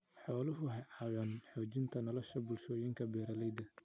Xooluhu waxay caawiyaan xoojinta nolosha bulshooyinka beeralayda ah.